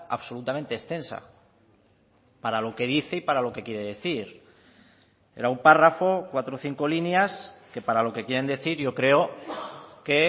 absolutamente extensa para lo que dice y para lo que quiere decir era un párrafo cuatro o cinco líneas que para lo que quieren decir yo creo que